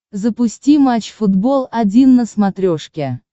запусти матч футбол один на смотрешке